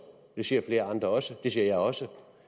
det siger flere andre også det siger jeg også